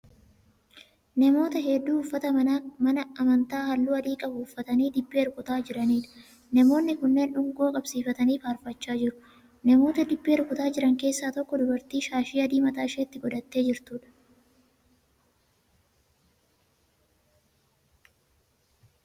Namoota hedduu uffata mana amantaa halluu adii qabu uffatanii dibbee rukutaa jiraniidha. Namoonni kunneen dungoo qabsiifatanii faarfachaa jiru. Namoota dibbee rukutaa jiran keessaa tokko dubartii shaashii adii mataa isheetti godhattee jirtuudha.